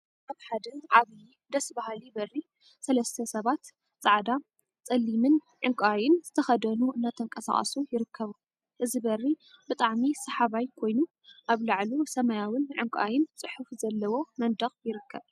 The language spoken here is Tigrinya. ኣብ ሓደ ዓብይ ደስ በሃሊ በሪ ሰለሰተ ሰባት ጻዕዳ፣ ጸሊምን ዕንቃይን ዝተከደኑ እናተንቀሳቀሱ ይርከቡ። እዚ በሪ ብጣዕሚ ሰሓባይ ኮይኑ ኣብ ላዕሉ ስማያዊን ዕንቃይን ጽሑፍ ዘለዎ መንደቅ ይርከብ።